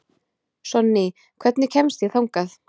Sonný, hvernig kemst ég þangað?